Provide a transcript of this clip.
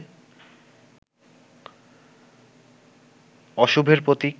অশুভের প্রতীক